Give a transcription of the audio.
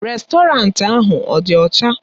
Rèstọrantị ahụ ọ dị ọcha?